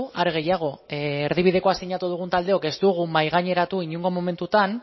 are gehiago erdibidekoa sinatu dugun taldeok ez dugu mahaigaineratu inongo momentutan